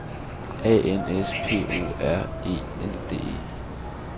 A N S P O R E N D E